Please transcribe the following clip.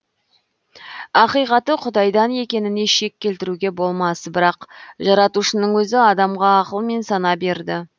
ақиқаты құдайдан екеніне шек келтіруге болмас бірақ жаратушының өзі адамға ақыл мен сана берді